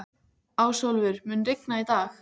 Ásólfur, mun rigna í dag?